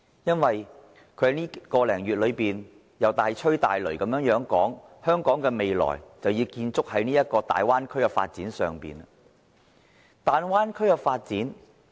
他在這1個多月裏大吹大擂的說香港的未來要建築在大灣區的發展上。